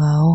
gawo.